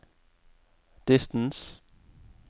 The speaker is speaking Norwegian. distance